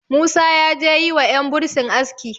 musa ya je yi wa yan bursin aski